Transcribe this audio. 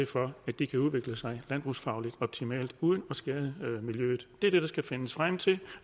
for at de kan udvikle sig landbrugsfagligt optimalt uden at skade miljøet det er det der skal findes frem til